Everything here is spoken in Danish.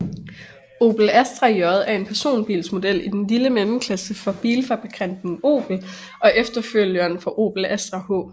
Opel Astra J er en personbilsmodel i den lille mellemklasse fra bilfabrikanten Opel og efterfølgeren for Opel Astra H